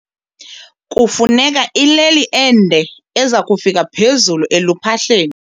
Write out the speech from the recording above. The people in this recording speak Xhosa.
Kufuneka ileli ende eza kufika phezulu eluphahleni.